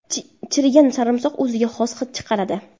Chirigan sarimsoq o‘ziga xos hid chiqaradi.